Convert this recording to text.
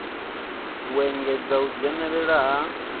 u engedza u dzhenela ha